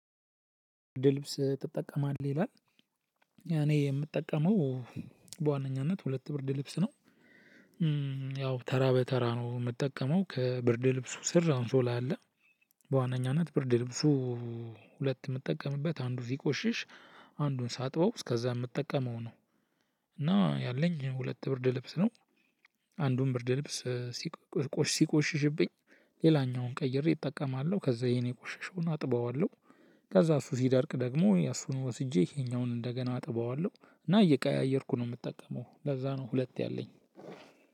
ብርድ ልብስ ትጠቀማለህ ይላል? እኔ የምጠቀመው በዋነኛነት ሁለት ብርድ ልብስ ነው። ያው ተራ በተራ ነው እምጠቀመው ከብርድ ልብሱ ስር አንሶላ አለ። በዋነኛነት ብርድ ልብሱ ሁለት እምጠቀምበት አንዱ ሲቆሽሽ አንዱን ሳጥበው እስከዛ እምጠቀመው ነው። እና ያለኝ ሁለት ብርድ ልብስ ነው። አንዱን ብርድ ልብስ ሲቆሽ ሲቆሽሽብኝ ሌላኛውን ቀይሬ እጠቀማለሁ ከዛ ይይሄን የቆሸሸውን አጥበዋለሁ። ከዛ እሱ ሲደርቅ ደግሞ እሱን ወስጄ ይሄኛውን እንደገና አጥበዋለሁ እና እየቀያየርኩ ነው እምጠቀመው ለዛ ነው። ሁለት ያለኝ